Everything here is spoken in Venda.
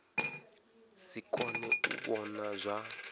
si kone u vhona zwa